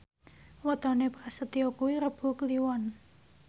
wetone Prasetyo kuwi Rebo Kliwon